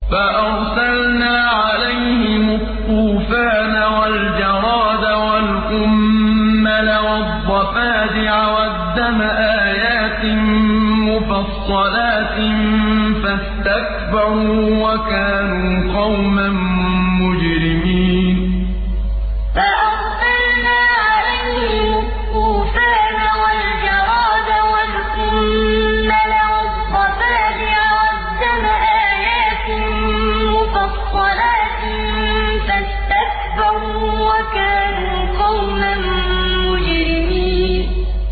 فَأَرْسَلْنَا عَلَيْهِمُ الطُّوفَانَ وَالْجَرَادَ وَالْقُمَّلَ وَالضَّفَادِعَ وَالدَّمَ آيَاتٍ مُّفَصَّلَاتٍ فَاسْتَكْبَرُوا وَكَانُوا قَوْمًا مُّجْرِمِينَ فَأَرْسَلْنَا عَلَيْهِمُ الطُّوفَانَ وَالْجَرَادَ وَالْقُمَّلَ وَالضَّفَادِعَ وَالدَّمَ آيَاتٍ مُّفَصَّلَاتٍ فَاسْتَكْبَرُوا وَكَانُوا قَوْمًا مُّجْرِمِينَ